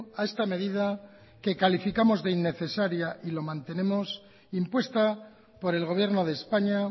a esta medida que calificamos de innecesaria y lo mantenemos impuesta por el gobierno de españa